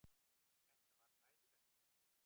Þetta var hræðilegt.